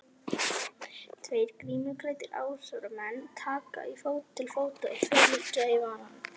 Tveir grímuklæddir árásarmenn taka til fótanna, tveir liggja í valnum.